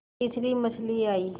फिर तीसरी मछली आई